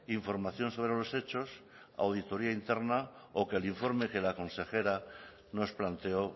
información sobre los hechos auditoría interna o que el informe que la consejera nos planteó